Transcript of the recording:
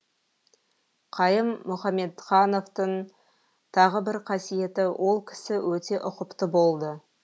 қайым мұхамедхановтың тағы бір қасиеті ол кісі өте ұқыпты болды